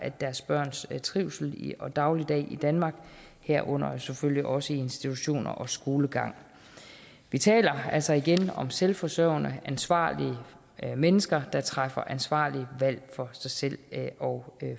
deres børns trivsel og daglig i danmark herunder selvfølgelig også i institutioner og skole vi taler altså igen om selvforsørgende ansvarlige mennesker der træffer ansvarlige valg for sig selv og